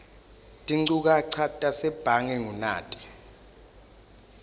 tinchukaca tasebhange ngunati